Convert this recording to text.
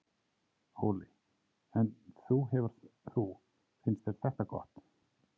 Óli: En þú hefur þú, finnst þér þetta gott?